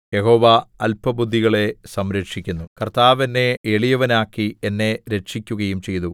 യഹോവ അല്പബുദ്ധികളെ സംരക്ഷിക്കുന്നു കർത്താവ് എന്നെ എളിയവനാക്കി എന്നെ രക്ഷിക്കുകയും ചെയ്തു